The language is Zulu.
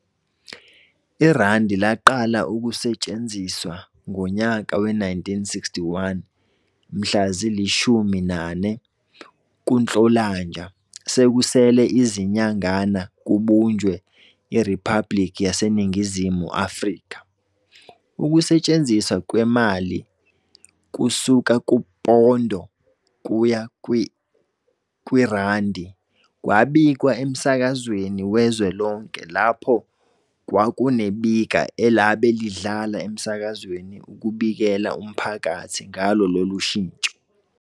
IRandi laqala ukusethsenziswa ngonyaka we-1961 mhla zi-14 kuNhlolnalanja sekusele izninyangana kubunjwe iRiphabliki yaseNingizimu Afrika. Ukushinthwa kwemali kusuka kuPondo kuya kweiRandi kwabikwa emsakazweni wezwe lonke lapho kwakunebika elabe lidlala emsakazweni ukubiklea umphkathi ngalo lolu shintsho.